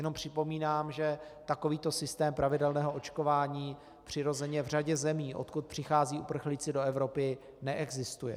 Jenom připomínám, že takovýto systém pravidelného očkování přirozeně v řadě zemí, odkud přicházejí uprchlíci do Evropy, neexistuje.